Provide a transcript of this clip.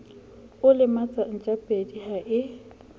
o lematsa ntjapedi ha e